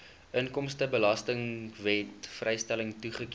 inkomstebelastingwet vrystelling goedgekeur